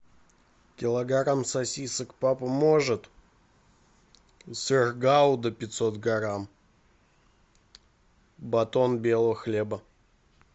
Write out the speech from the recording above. килограмм сосисок папа может сыр гауда пятьсот грамм батон белого хлеба